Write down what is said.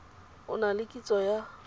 o na le kitso ya